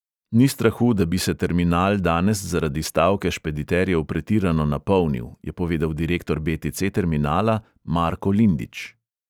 Ni strahu, da bi se terminal danes zaradi stavke špediterjev pretirano napolnil, je povedal direktor be|te|ce terminala marko lindič.